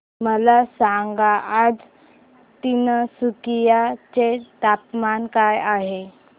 मला सांगा आज तिनसुकिया चे तापमान काय आहे